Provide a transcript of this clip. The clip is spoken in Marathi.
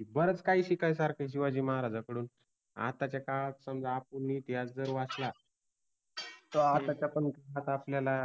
कि बरच काइ शिकायसारख आहे शिवाजि महाराजांकडुन. आत्ताच्या काळात समजा आपण इतिहास जर वाचला, तर आत्ताच्या पण, आता आपल्याला